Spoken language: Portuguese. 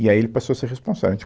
E aí ele passou a ser responsável